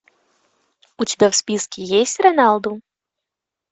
у тебя в списке есть роналду